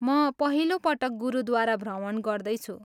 म पहिलो पटक गुरुद्वारा भ्रमण गर्दैछु।